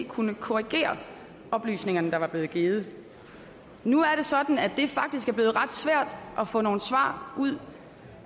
kunne korrigere oplysningerne der var blevet givet nu er det sådan at det faktisk er blevet ret svært at få nogle svar ud